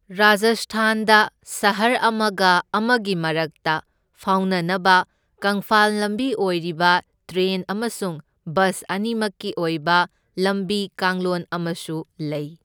ꯔꯥꯖꯁꯊꯥꯟꯗ ꯁꯍꯔ ꯑꯃꯒ ꯑꯃꯒꯤ ꯃꯔꯛꯇ ꯐꯥꯎꯅꯅꯕ ꯀꯪꯐꯥꯜ ꯂꯝꯕꯤ ꯑꯣꯏꯔꯤꯕ ꯇ꯭ꯔꯦꯟ ꯑꯃꯁꯨꯡ ꯕꯁ ꯑꯅꯤꯃꯛꯀꯤ ꯑꯣꯏꯕ ꯂꯝꯕꯤ ꯀꯥꯡꯂꯣꯟ ꯑꯃꯁꯨ ꯂꯩ꯫